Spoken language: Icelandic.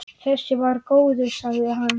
Þessi var góður, sagði hann.